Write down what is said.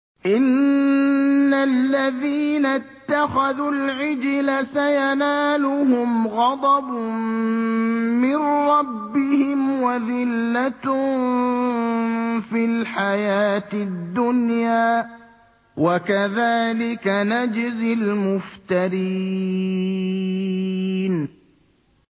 إِنَّ الَّذِينَ اتَّخَذُوا الْعِجْلَ سَيَنَالُهُمْ غَضَبٌ مِّن رَّبِّهِمْ وَذِلَّةٌ فِي الْحَيَاةِ الدُّنْيَا ۚ وَكَذَٰلِكَ نَجْزِي الْمُفْتَرِينَ